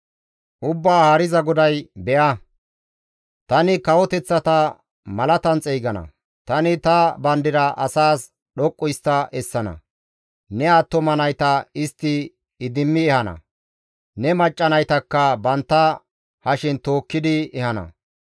Ubbaa Haariza GODAY, «Be7a, tani kawoteththata malatan xeygana; tani ta bandira asaas dhoqqu histta essana; ne attuma nayta istti idimmi ehana; ne macca naytakka bantta hashen tookkidi ehana.